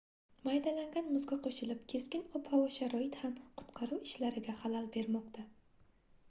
maydalangan muzga qoʻshilib keskin ob-havo sharoiti ham qutqaruv ishlariga xalal bermoqda